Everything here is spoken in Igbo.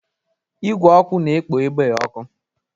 Igwe ọkụ na-ekpo ebe ọkụ.